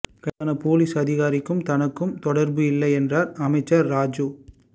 கைதான போலிஸ் அதிகாரிக்கும் தனக்கும் தொடர்பு இல்லை என்றார் அமைச்சர் ராஜூ